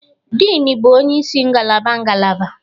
Dean bụ onye isi ngalaba ngalaba